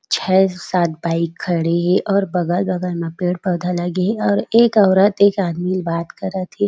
छ: सात भाई खड़े हे और बगल-बगल म पेड़-पौधा लगे हे और एक औरत एक आदमी बात करत हे।